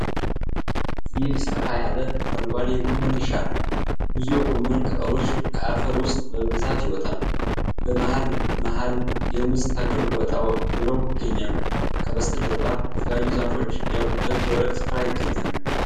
ይህ ሰፋ ያለ አረንጓዴ የጎመን እርሻ ነው። ብዙ የጎመን ቅጠሎች ከአፈር ውስጥ በብዛት ይወጣሉ፤ በመሃል መሃልም የሙዝ ተክል ወጣ ብሎ ይገኛል። ከበስተጀርባ የተለያዩ ዛፎች ያሉበት ደረቅ ስፍራ ይገኛል።